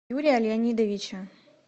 юрия леонидовича